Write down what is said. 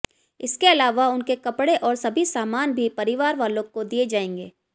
इसके अलावा उनके कपड़े और सभी सामान भी परिवारवालों को दिए जाएंगे